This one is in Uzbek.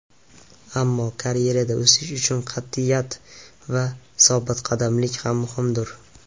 Ammo karyerada o‘sish uchun qat’iyat va sobitqadamlik ham muhimdir.